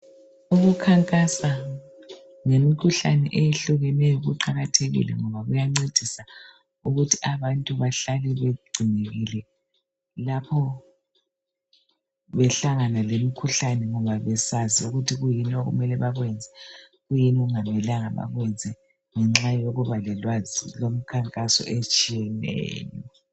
Ukukhankasa ngemikhuhlane eyehlukeneyo kuqakathekile ngoba kuyancedisa ukuthi abantu behlale begcinekile lapho behlangana lemikhuhlane ngoba besazi ukuthi kuyini okumele bakwenze, kuyini okungamelanga bakwenze ngenxa yokuba lolwazi lwemikhankaso etshiyeneyo.